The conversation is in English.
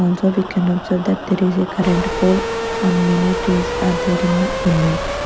also we can observe that there is a current pole and many trees are there in the image.